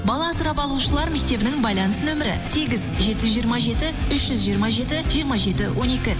бала асырап алушылар мектебінің байланыс нөмірі сегіз жеті жүз жиырма жеті үш жүз жиырма жеті жиырма жеті он екі